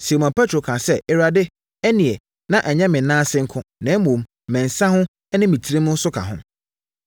Simon Petro kaa sɛ, “Awurade, ɛnneɛ na ɛnyɛ me nan ase nko, na mmom, me nsa ho ne me tirim nso ka ho.”